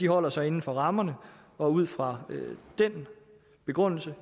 holder sig inden for rammerne og ud fra den begrundelse